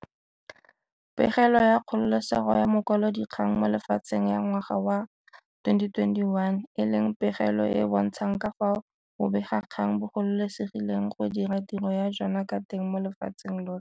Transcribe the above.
Pegelo ya Kgololesego ya Makwalodikgang mo Lefatsheng ya ngwaga wa 2021, e leng pegelo e e bontshang ka fao bobegakgang bo gololesegileng go dira tiro ya jona ka teng mo lefatsheng lotlhe.